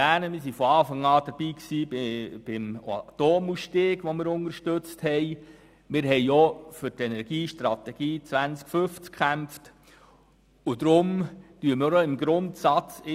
Wir haben von Anfang an den Atomausstieg unterstützt und auch für die Energiestrategie 2050 gekämpft.